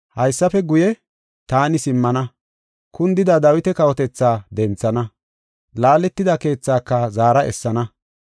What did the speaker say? “ ‘Haysafe guye, taani simmana, kundida Dawita kawotetha denthana. Laaletida keethaaka zaara essana.